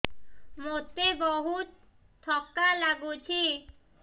ମୋତେ ବହୁତ୍ ଥକା ଲାଗୁଛି